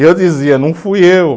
E eu dizia, não fui eu.